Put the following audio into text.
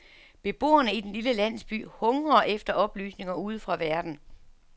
Beboerne i den lille landsby hungrer efter oplysninger udefra verden.